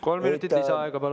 Kolm minutit lisaaega, palun!